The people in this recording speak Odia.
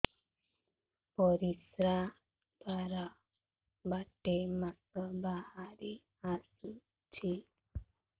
ପରିଶ୍ରା ଦ୍ୱାର ବାଟେ ମାଂସ ବାହାରି ଆସୁଛି